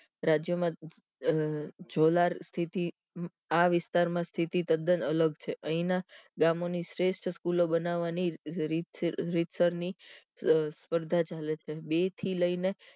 રાજ્યમાં અ જોલાર સ્તિતિ આ વિસ્તાર માં સ્તિતિ તદન અલગ છે અહી ના ગામો ની શ્રેષ્ઠ સ્કૂલ બનાવાનીરીત રીતસર ની સ્પર્ધા ચાલે છે બે થી લઈને